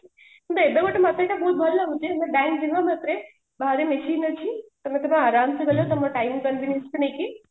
କିନ୍ତୁ ଏବେ ଗୋଟେ ମତେ ଏଇଟା ବହୁତ ଭଲ ଲାଗୁଛି ଏବେ ବାଙ୍କ ଯିବା ମାତ୍ରେ ବାହାରେ machine ଅଛି ତମ ତମ ଆରମସେ ଗଲ ତମ ନେଇକି